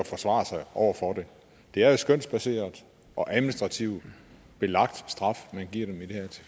forsvare sig over for det det er jo skønsbaseret og administrativt belagt straf man giver